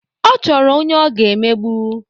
Ọ chọrọ onye ọ ga-emegbu.